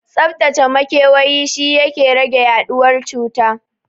Tsaftacaccen makewayi shi yake rage yaɗuwar cuta